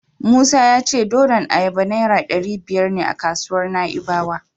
Musa ya ce nonon ayaba Naira ɗari biyar ne a kasuwar Na'ibawa.